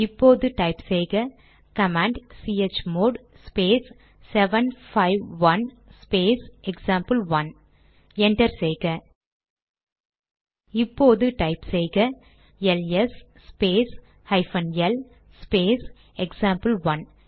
இப்போது டைப் செய்ககமாண்ட் chmod space 751 space example 1 enter செய்க இப்போது டைப் செய்க LS space hyphen L space example one